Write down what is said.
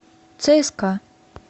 цска